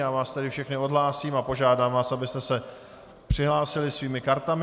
Já vás tedy všechny odhlásím a požádám vás, abyste se přihlásili svými kartami.